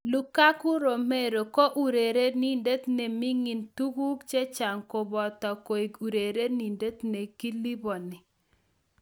Lukaku Romero ko urerenindet ne ming'in en tuguk chechang koboto koik urerenindet ne kiliponi.